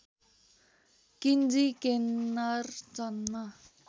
किन्जी केन्नर जन्म